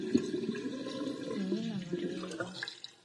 нина нуреева